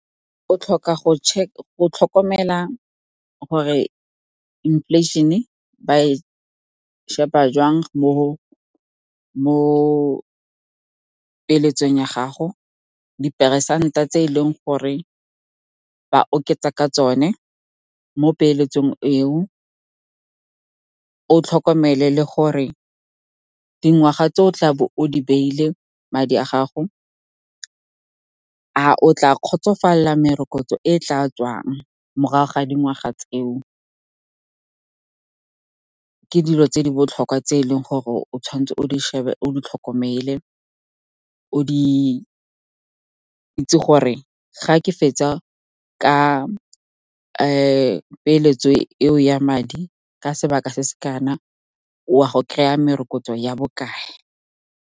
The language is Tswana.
O tlhoka go tlhokomela gore inflation-e ba e sheba jwang mo dipeeletsong ya gago, diperesente tse e leng gore ba oketsa ka tsone mo peeletsong eo. O tlhokomele le gore dingwaga tse o tla bo o di beile madi a gago, a o tla kgotsofalela merokotso e tla tswang morago ga dingwaga tseo. Ke dilo tse di botlhokwa tse e leng gore o tshwantswe o di tlhokomele, o di itse gore, ga ke fetsa ka peeletso eo ya madi ka sebaka se se kana, wa go kry-a merokotso ya bokae.